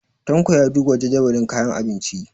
Tanko ya duba jadawalin kayan abinci.